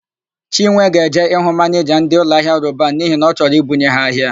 Chinwe ga-eje ịhụ manịja ndị ụlọahịa Roban n'ihi na ọ chọro I bunye ha ahịa.